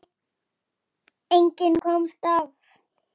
Breytir öllu.